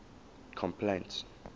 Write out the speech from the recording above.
complaints